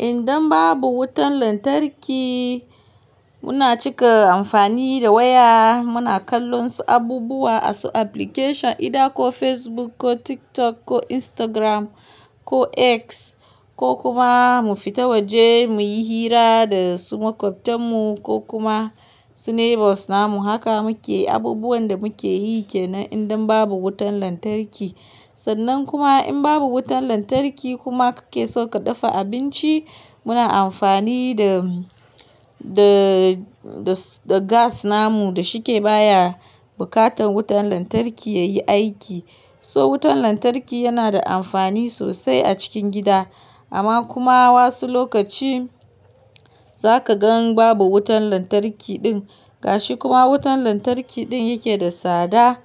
Idan babu wutan lantarki muna cika amfani da waya muna kallon su abubuwa a su application idan ko Facebook ko TikTok ko Instagram ko X ko kuma mu fita waje muyi hira da su makwabtan mu ko kuma su neighbours namu. Haka muke abubuwan da muke yake nan idan babu wutan lantarki. Sannan kuma in babu wutan lantarki kuma kake so ka dafa abinci muna amfani da, da, da, da gas namu da shike baya bukatan wutan lantarki yayi aiki. So wutan lantarki yana da amfani sosai a cikin gida amma kuma wasu lokaci zaka gan babu wutan lantarki din gashi kuma wutan lantarki din yake da tsada,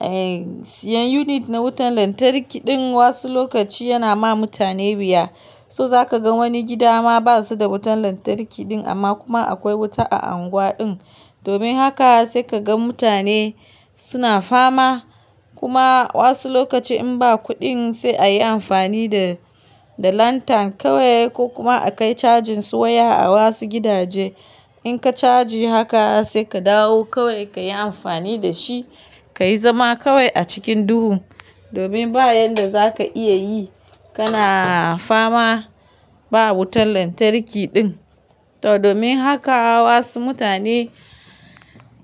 eh, siyan unit na wutan lantarki din wasu lokaci yana ma mutane wuya. So zaka ga wani gida ma basu da wutan lantarki din amma kuma akwai wuta a unguwa din. Domin haka sai kaga mutane suna fama kuma wasu lokaci in ba kudin sai ayi amfani da, da lantern kawai ko kuma a kai cajin su waya a wasu gidaje. In ka caji haka sai ka dawo kawai kayi amfani da shi, kayi zama kawai a cikin duhu. Domin ba yanda zaka iya yi kana fama ba wutan lantarki din. To domin haka wasu mutane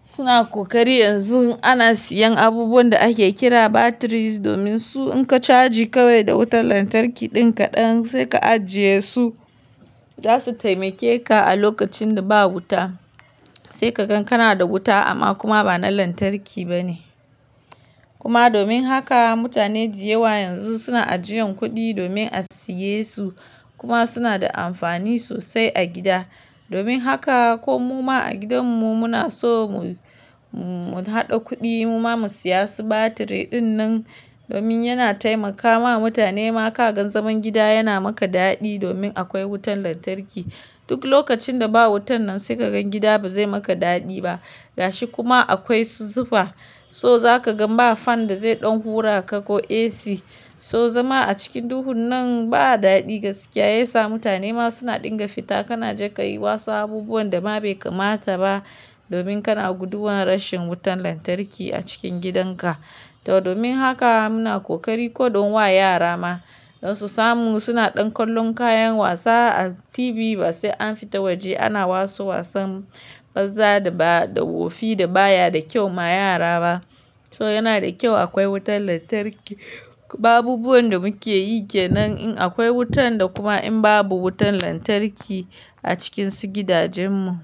suna kokari yanzu ana siyan abubuwan da ake kira batteries domin su in ka caji kawai da wutan lantarki din kadan sai ka ajiye su zasu taimake ka a lokacin da ba wuta. Sai ka gan kana da wuta amma kuma bana lantarki bane. Kuma domin haka mutane da yawa yanzu suna ajiyan kudi domin a siye su kuma suna da amfani sosai a gida. Domin haka ko muma a gidan mu muna so mu, mu hada kudi mu ma mu siya su battery din nan domin yana taimakawa mutane ma kagan zaman gida yana maka dadi domin akwai wutan lantarki. Duk lokacin da ba wutan nan sai kagan gida bazai maka dadi ba. Gashi kuma akwai su zufa so zaka gan ba fan da zai ɗan hura ka ko AC so zama a cikin duhun nan ba dadi gaskiya yasa mutane ma suna dinga fita kana jaka yi wasu abubuwan da ma bai kamata ba domin kana guduwan rashin wutan lantarki a cikin gidanka. To domin haka muna kokari ko don wa yara ma don su samu suna ɗan kallon kayan wasa a TV ba sai an fita waje ana wasu wasan banza da ba, da wofi da baya da kyau ma yara ba. So yana da kyau akwai wutan lantarki. Ba abubuwan da muke yake nan in akwai wutan da kuma in babu wutan lantarki a cikin su gidajen mu.